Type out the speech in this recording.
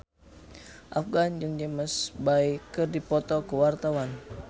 Afgan jeung James Bay keur dipoto ku wartawan